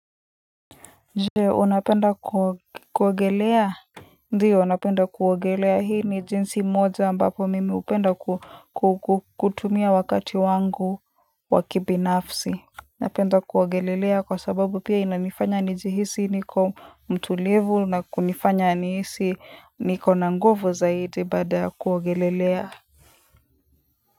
Je unapenda kuogelea Ndiyo napenda kuogelea hii ni jinsi moja ambapo mimi hupenda kutumia wakati wangu wa kibinafsi napenda kuogelelea kwa sababu pia inanifanya nijihisi niko mtu level na kunifanya nihisi niko na nguvu zaidi baada ya kuogelelea.